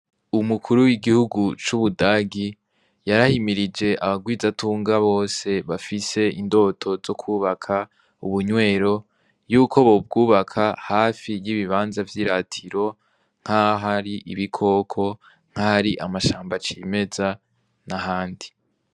Umukuru w'igihugu c'ubudagi, yarahimirije abagwizatunga bose ,bafise indoto zokubaka ubunywero ,yuko bobwubaka hafi y'ibibanza vy'iratiro, nk'ahari ibikoko nk'ahari amashamba cimeza n'ahandi.